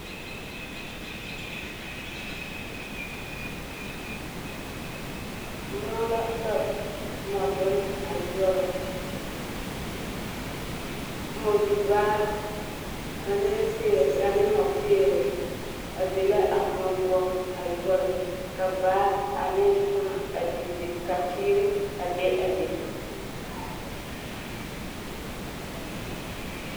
Mõͻ la ka mͻdonne a yoͻrͻ. Mͻdobaa ane peere mͻpeere a be la a mõͻ poͻ a yoͻrͻ. ka baa ane faa a digire. Ka teere a be a be.